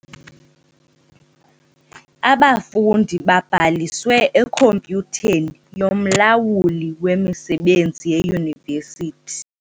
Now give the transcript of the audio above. Abafundi babhaliswe ekhompyutheni yomlawuli wemisebenzi yeYunivesithi.